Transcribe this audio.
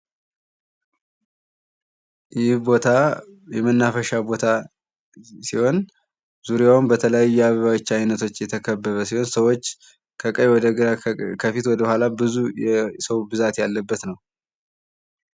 ይህ ቦታ የመናፈሻ ቦታ ሲሆን ዙሪያውን በተለያዩ አበቦች አይነቶች የተከበበ ሲሆን ሰዎች ከቀኝ ወደ ግራ ፣ ፊት ወደኋላ ብዙ የሰው ብዛት ያለበት ነው ።